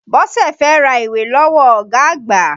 Bọ́sẹ̀ fẹ́ ra ìwé lọ́wọ́ ọ̀gá àgbà.